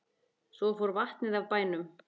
Svo fór vatnið af bænum.